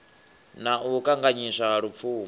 na u kanganyiswa ha lupfumo